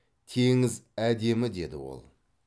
теңіз әдемі деді ол